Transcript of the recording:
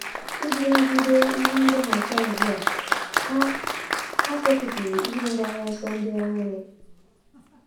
Iji nagide ihe ndọghachi azụ a, ha, ha setịpụrụ ihe mgbaru ọsọ ndị ọhụrụ.